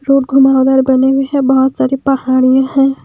Road घुमावदार बने हुए हैं बहुत सारी पहाड़ियां हैं।